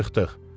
Çıxdıq.